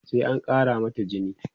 sai an Kara mata jini